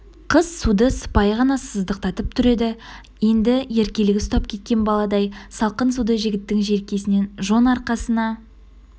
қыз суды сыпайы ғана сыздықтатып тұр еді енді еркелігі ұстап кеткен баладай салқын суды жігіттің желкесінен жон арқасына